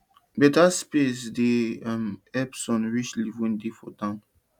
beta um space dey um help sun reach leaf wey dey for down